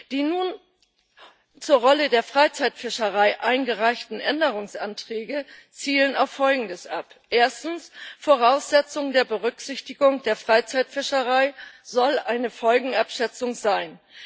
Die nun zur Rolle der Freizeitfischerei eingereichten Änderungsanträge zielen auf Folgendes ab Erstens Voraussetzung der Berücksichtigung der Freizeitfischerei soll eine Folgenabschätzung sein.